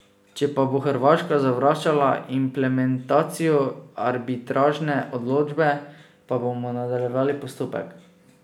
Če pa bo Hrvaška zavračala implementacijo arbitražne odločbe, pa bomo nadaljevali postopek.